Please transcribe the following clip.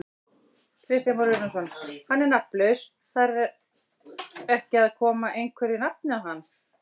Kristján Már Unnarsson: Hann er nafnlaus, þar ekki að koma einhverju nafni á hann?